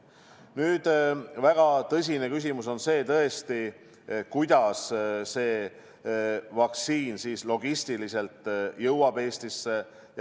Nüüd, väga tõsine küsimus on tõesti see, kuidas vaktsiin logistiliselt jõuab Eestisse.